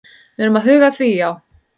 Við erum að huga að því, já.